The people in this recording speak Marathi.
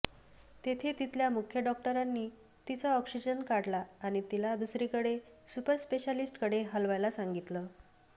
तेव्हा तिथल्या मुख्य डॉक्टरांनी तिचा ऑक्सिजन काढला आणि तिला दुसरीकडे सुपर स्पेश्यालिस्ट्कडे हलवायला सांगितलं